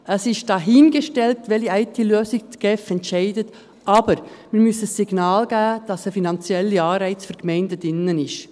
Es ist dahingestellt, für welche IT-Lösung die GSI sich entscheidet, aber wir müssen ein Signal geben, dass ein finanzieller Anreiz für die Gemeinden drin ist.